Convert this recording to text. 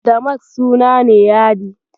Damask suna ne yadi.